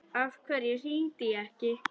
Af hverju hringdi ég ekki?